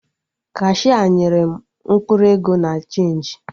Kashia nyere m mkpụrụ ego na chenji